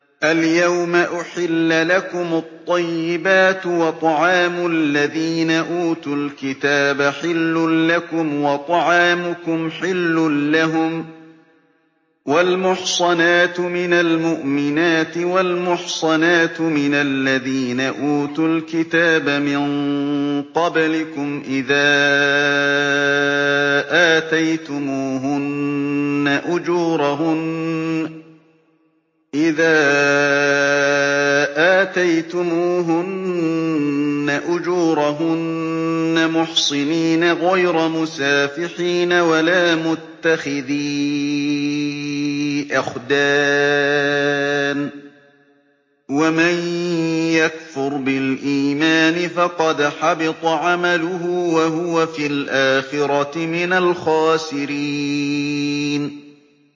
الْيَوْمَ أُحِلَّ لَكُمُ الطَّيِّبَاتُ ۖ وَطَعَامُ الَّذِينَ أُوتُوا الْكِتَابَ حِلٌّ لَّكُمْ وَطَعَامُكُمْ حِلٌّ لَّهُمْ ۖ وَالْمُحْصَنَاتُ مِنَ الْمُؤْمِنَاتِ وَالْمُحْصَنَاتُ مِنَ الَّذِينَ أُوتُوا الْكِتَابَ مِن قَبْلِكُمْ إِذَا آتَيْتُمُوهُنَّ أُجُورَهُنَّ مُحْصِنِينَ غَيْرَ مُسَافِحِينَ وَلَا مُتَّخِذِي أَخْدَانٍ ۗ وَمَن يَكْفُرْ بِالْإِيمَانِ فَقَدْ حَبِطَ عَمَلُهُ وَهُوَ فِي الْآخِرَةِ مِنَ الْخَاسِرِينَ